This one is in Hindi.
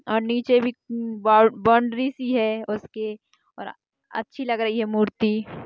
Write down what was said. और नीचे भी बौ बाउन्ड्री सी है उसके और अ अच्छी लग रही है मूर्ति।